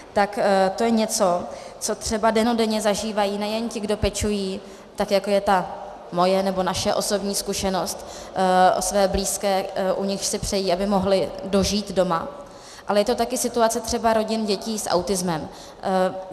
Tak to je něco, co třeba dennodenně zažívají nejen ti, kdo pečují, tak jako je ta moje nebo naše osobní zkušenost, o své blízké, u nichž si přejí, aby mohli dožít doma, ale je to taky situace třeba rodin dětí s autismem.